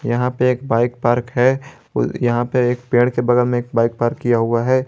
यहां पे एक बाइक पार्क है यहां पे एक पेड़ के बगल में एक बाइक पार्क किया हुआ है।